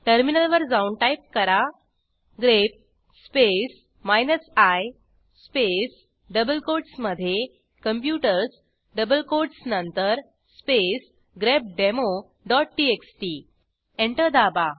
टर्मिनलवर जाऊन टाईप करा grep space I space double कोटसमधे कॉम्प्युटर्स डबल कोटस नंतर स्पेस grepdemoटीएक्सटी एंटर दाबा